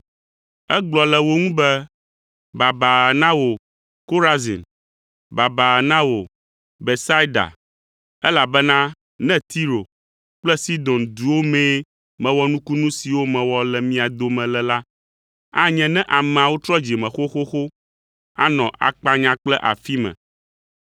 Egblɔ le wo ŋu be, “Baba na wò Korazin! Baba na wò Betsaida! Elabena ne Tiro kple Sidon duwo mee mewɔ nukunu siwo mewɔ le mia dome le la, anye ne ameawo trɔ dzime xoxoxo, anɔ akpanya kple afi me.